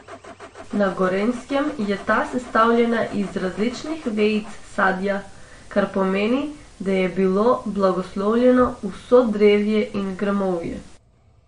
Na Gorenjskem je ta sestavljena iz različnih vejic sadja, kar pomeni, da je bilo blagoslovljeno vso drevje in grmovje.